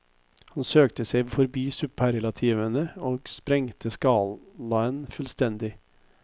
Han søkte seg forbi superlativene og sprengte skalaen fullstendig.